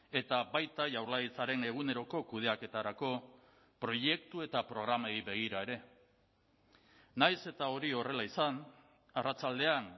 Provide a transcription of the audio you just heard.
eta baita jaurlaritzaren eguneroko kudeaketarako proiektu eta programei begira ere nahiz eta hori horrela izan arratsaldean